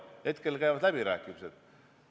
Hetkel käivad läbirääkimised.